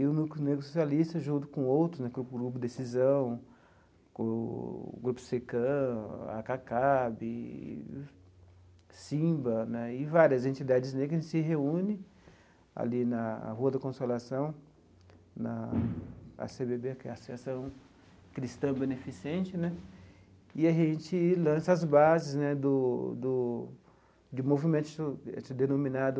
E o Núcleo Negro Socialista, junto com outros, Grupo Grupo Decisão, Grupo CECAN, Acacab, SINBA né e várias entidades negras, se reúne ali na Rua da Consolação, na á cê bê bê, que é a Associação Cristã Beneficente né, e a gente lança as bases né do do de movimento denominado